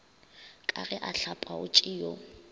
ka ge a hlapaotše yo